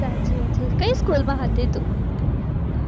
સાચી વાત છે કઈ school માં હતી તું?